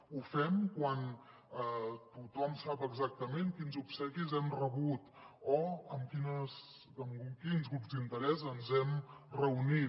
ho fem quan tothom sap exactament quins obsequis hem rebut o amb quins grups d’interès ens hem reunit